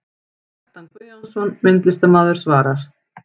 Kjartan Guðjónsson, myndlistarmaður svarar